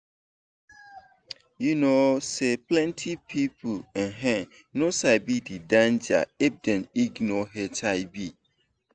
you know say plenty people um no sabi the danger if dem ignore hiv.